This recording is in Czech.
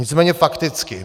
Nicméně fakticky.